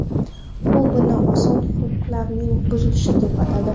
U buni inson huquqlarining buzilishi deb atadi.